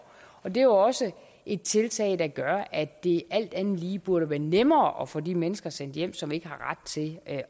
og det er jo også et tiltag der gør at det alt andet lige burde være nemmere at få de mennesker sendt hjem som ikke har ret til at